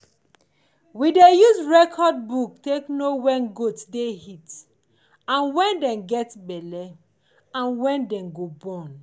we dey use record book to dey know when goat dey heat and when dem get belly and when dem go born.